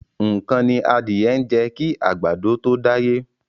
Nǹkan ni adìẹ ń jẹ kí àgbàdo tó dáyé.